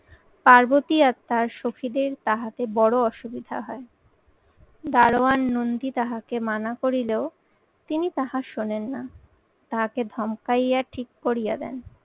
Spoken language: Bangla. পার্বতী আর তার শখীদের তাহাতে বড় অসুবিধা হয়। দারোয়ান নন্দী তাঁহাকে মানা করিলেও তিনি তাহা শোনেন না। তাহাকে ধমকাইয়া ঠিক করিয়ে দেন।